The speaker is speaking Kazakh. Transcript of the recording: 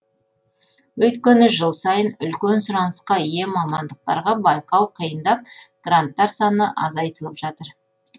өйткені жыл сайын үлкен сұранысқа ие мамандықтарға байқау қиындап гранттар саны азайтылып жатыр